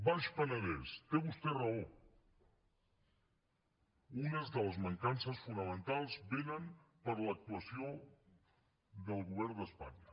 baix penedès té vostè raó unes de les mancances fonamentals vénen per l’actuació del govern d’espanya